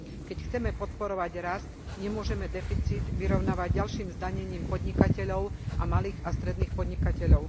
Keď chceme podporovať rast, nemôžeme deficit vyrovnávať ďalším zdanením podnikateľov a malých a stredných podnikateľov.